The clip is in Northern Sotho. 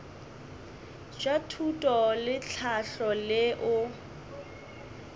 bja thuto le tlhahlo leo